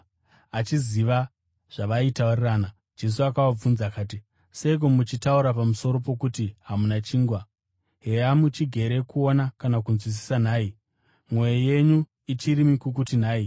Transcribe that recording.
Achiziva zvavaitaurirana, Jesu akavabvunza akati, “Seiko muchitaura pamusoro pokuti hamuna chingwa? Heya, muchigere kuona kana kunzwisisa nhai? Mwoyo yenyu ichiri mikukutu nhai?